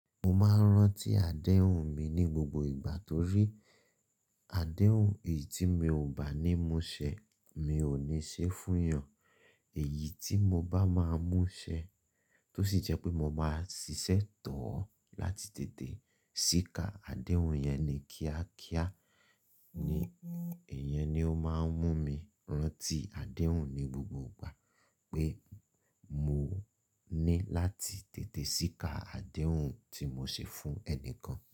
Mo máa ń rántí adéhùn mi ní gbogbo ìgbà torí adéhùn èyí tí mi ò bá ní mú ṣẹ, mi ò ní ṣe fún yàn. Èyí tí mo bá máa mú ṣẹ, tó sì jẹ́ pé mo máa ṣiṣẹ́ tọ́ ọ láti tètè síká adéhùn yẹn ni kíákíá ni, ìyẹn ni ó máa ń mú mi rántí adéhùn ni gbogbo ìgbà pé mo ní láti tètè síká adéhùn tí mo ṣe fún ẹnìkan.